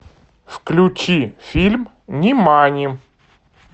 включи фильм нимани